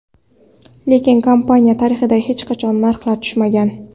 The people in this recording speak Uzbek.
Lekin kompaniya tarixida hech qachon narxlar tushmagan.